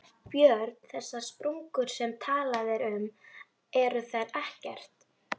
Björn: Þessar sprungur sem talað er um, eru þær ekkert?